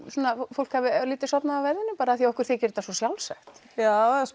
fólk hafi örlítið sofnað á verðinum bara af því að okkur þykir þetta svo sjálfsagt já